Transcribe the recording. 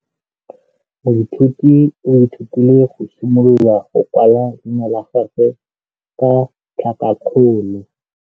Moithuti o ithutile go simolola go kwala leina la gagwe ka tlhakakgolo.